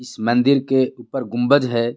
इस मंदिर के ऊपर गुंबज है.